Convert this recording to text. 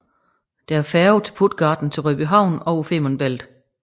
Det er færge fra Puttgarden til Rødbyhavn over Femern Bælt